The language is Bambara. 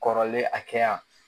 Kɔrɔlen a kɛ yan